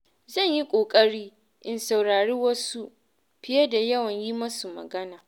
Zan yi ƙoƙari in saurari wasu fiye da yawan yi masu magana.